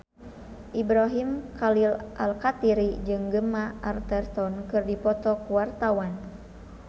Ibrahim Khalil Alkatiri jeung Gemma Arterton keur dipoto ku wartawan